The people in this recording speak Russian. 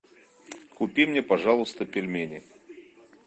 купи мне пожалуйста пельмени